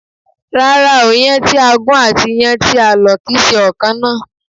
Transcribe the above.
Rárá o, Iyán tí a gún àti iyán tí a lò kìí ṣe ọ̀ kan náà